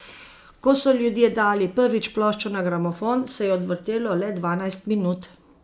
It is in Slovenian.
Ko so ljudje dali prvič ploščo na gramofon, se je odvrtelo le dvanajst minut.